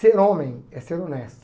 Ser homem é ser honesto.